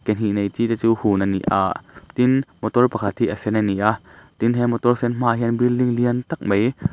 ke hnih nei chi te chu hun a ni a tin motor pakhat hi a sen a ni a tin he motor sen hmaah hian building lian tak mai--